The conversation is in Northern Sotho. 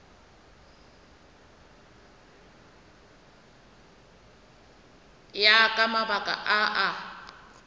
ya ka mabaka a a